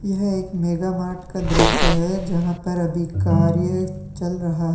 यह एक mega mart का दृश्य है जहां पर अभी कार्य चल रहा है।